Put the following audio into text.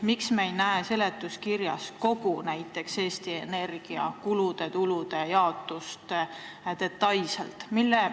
Miks me ei näe seletuskirjas näiteks kogu Eesti Energia kulude ja tulude jaotust detailselt?